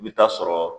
I bɛ taa sɔrɔ